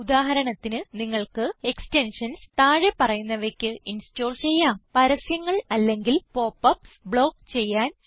ഉദാഹരണത്തിന് നിങ്ങൾക്ക് എക്സ്റ്റൻഷൻസ് താഴെ പറയുന്നവയ്ക്ക് ഇൻസ്റ്റോൾ ചെയ്യാം പരസ്യങ്ങൾ അല്ലെങ്കിൽ പോപ്പപ്സ് ബ്ലോക്ക് ചെയ്യാൻ